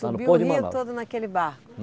Subiu o rio todo naquele barco?